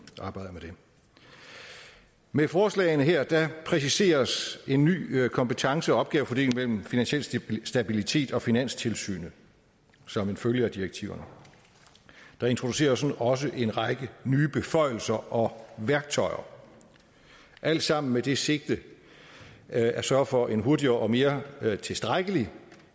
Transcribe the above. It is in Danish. arbejder med det med forslagene her præciseres en ny kompetence og opgavefordeling mellem finansiel stabilitet og finanstilsynet som en følge af direktiverne der introduceres også en række nye beføjelser og værktøjer alt sammen med det sigte at sørge for en hurtigere og mere tilstrækkelig